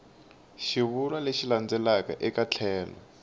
xivulwa lexi landzelaka eka tlhelo